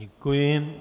Děkuji.